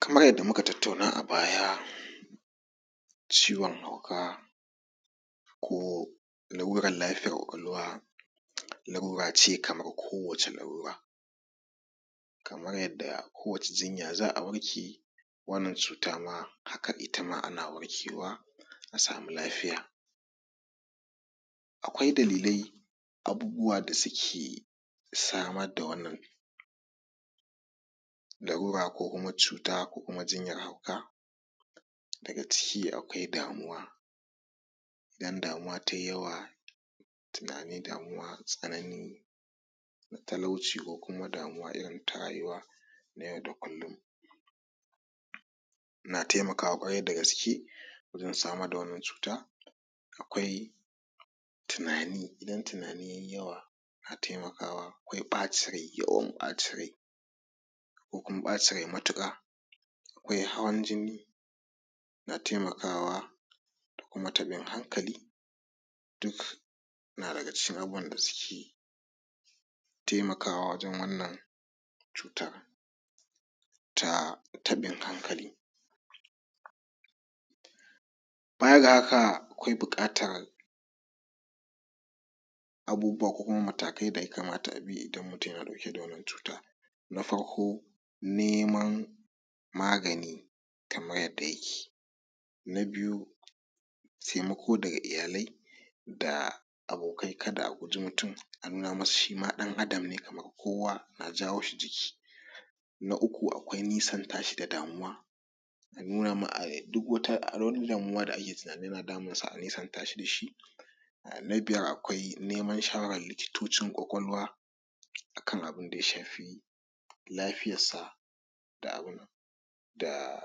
Kamar yadda muka tattauna a baya ciwon hauka ko lalurar lafiyar ƙwaƙwalwa lalura ce kamar kowacce lalura kamar yadda. Kowacce jinya za'a warke wannan cuta ma haka ita ma ana warkewa a sama lafiya. Akwai dalilai da abubuwan da suke samar da wannan lalura ko kuma cuta ko kuma jinyar hauka, daga ciki akwai damuwa, idan damuwa ta yi yawa tunani damuwa tsanani talauci ko kuma damuwa irinta rayuwa na yau da kullum na taimakawa kwarai dagaske wajen samar da wannan cuta. Akwai tunani idan tunanin ya yi yawa yana taimakawa, akwai ɓacin rai, yawan bacin rai ko kuma ɓacin rai matuƙar akwai hawan jini na taimakawa da kuma tabin hankali duk na daga cikin abubuwan da suke taimakawa wajen wannan cuta ta taɓin hankali. Baya ga haka akwai buƙatar abubuwa ko kuma matakai da ya kamata a bi idan mutum yana dauke da wannan cuta, na farko neman magani kamar yadda yake. Na biyu taimako daga iyalai da abokai kada a guji mutum a nuna masa shi ma ɗan Adam ne kamar kowa a na jawo shi jiki. Na uku kuwa akwai nisanta shi da damuwa a nuna ma ai.. duk wata da.. duk wani damuwa ake tunanin yana damunsa a nesanta shi da shi .Ahh Na biyar akwai neman shawarar likitocin ƙwaƙwalwa akan abun da ya shafi lafiyarsa da abun nan.. da..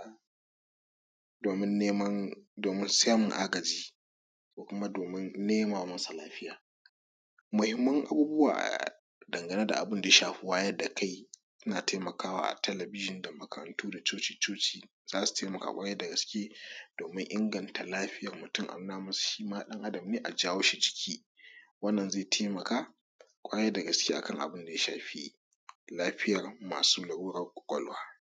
domin neman domin samun agaji ko kuma domin nema masa lafiya. Muhimman abubuwa ahh dangane da abun da ya shafi wayar da kai suna taimakawa a talabijin da makarantu da cuci-cuci domin inganta lafiyar mutum a nuna masa shi ma ɗan Adam ne a jawo shi jiki wannan zai taimaka kwarai dagaske akan Abinda ya shafi lafiyar masu lalurar ƙwaƙwalwa.